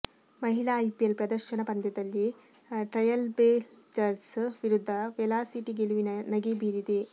ಮಹಿಳಾ ಐಪಿಎಲ್ ಪ್ರದರ್ಶನ ಪಂದ್ಯದಲ್ಲಿ ಟ್ರೈಯಲ್ಬ್ಲೇಜರ್ಸ್ ವಿರುದ್ದ ವೆಲಾಸಿಟಿ ಗೆಲುವಿನ ನಗೆ ಬೀರಿದೆ